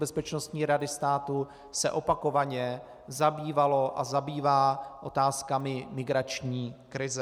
Bezpečnostní rady státu se opakovaně zabývaly a zabývají otázkami migrační krize.